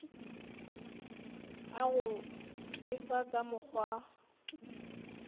a go befa ka mokgwa